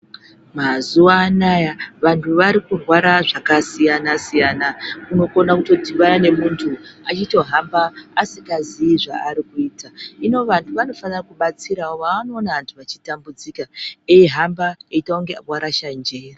Mazuva anaya vantu varikurwara zvakasiyana-siyana unokona kutodhibana nemuntu achitohamba asikaziyi zvaari kuita. Hino vantu vanofana kubatsira vaanoona vechitambudzika eihamba eiita kunge vakarasha njere.